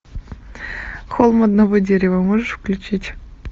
холм одного дерева можешь включить